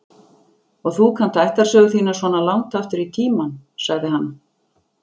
Og þú kannt ættarsögu þína svona langt aftur í tímann, sagði hann.